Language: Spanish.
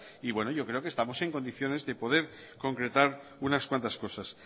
y yo creo que estamos en condiciones de poder concretar unas cuantas cosas